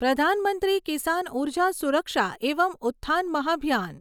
પ્રધાન મંત્રી કિસાન ઉર્જા સુરક્ષા એવમ ઉત્થાન મહાભિયાન